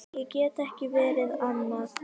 Ég get ekki verið annað.